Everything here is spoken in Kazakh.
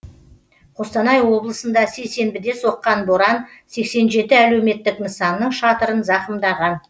қостанай облысында сейсенбіде соққан боран сексен жеті әлеуметтік нысанның шатырын зақымдаған